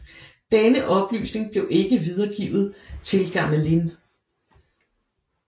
Denne oplysning blev ikke videregivet til Gamelin